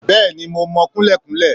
Bẹ́ẹ̀ni mo mọ kunlékunlé